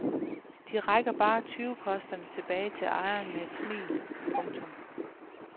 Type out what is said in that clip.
De rækker bare tyvekosterne tilbage til ejeren med et smil. punktum